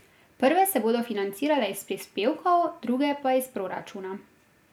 Prve se bodo financirale iz prispevkov, druge pa iz proračuna.